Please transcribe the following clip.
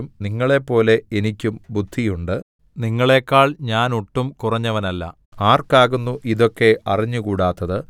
നിങ്ങളെപ്പോലെ എനിക്കും ബുദ്ധി ഉണ്ട് നിങ്ങളേക്കാൾ ഞാൻ ഒട്ടും കുറഞ്ഞവനല്ല ആർക്കാകുന്നു ഇതൊക്കെ അറിഞ്ഞുകൂടാത്തത്